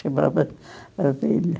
Chamava a vila.